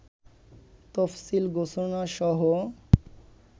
তফসিল ঘোষণাসহ